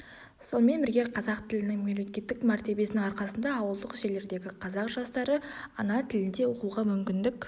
сонымен бірге қазақ тілінің мемлекеттік мәртебесінің арқасында ауылдық жерлердегі қазақ жастары ана тілінде оқуға мүмкіндік